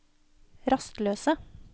rastløse